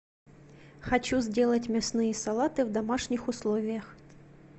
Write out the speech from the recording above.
хочу сделать мясные салаты в домашних условиях